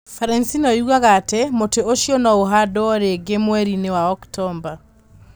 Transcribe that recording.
Franceinfo yugaga atĩ, "mũtĩ ũcio no ũhandwo rĩngĩ mweri-inĩ wa Oktomba".